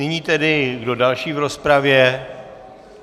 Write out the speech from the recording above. Nyní tedy - kdo další v rozpravě?